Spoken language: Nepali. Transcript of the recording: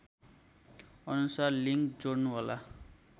अनुसार लिङ्क जोड्नुहोला